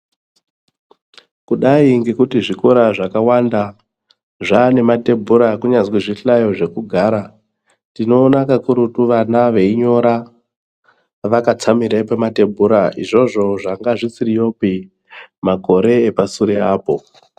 Kudai ngekuti zvikora zvakawanda zvane matebhura kunyazwi zvihlayo zvekugara tinoona kakurutu vana veinyora vakatsamira pamatebhura izvozvo zvanga zvisiriyopi makore epasure apo.